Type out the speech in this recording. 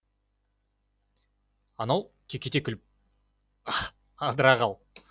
анау кекете күліп адыра қал